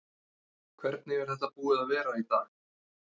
Hvernig er þetta búið að vera í dag?